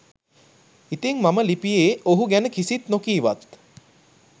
ඉතිං මම ලිපියේ ඔහු ගැන කිසිත් නොකීවත්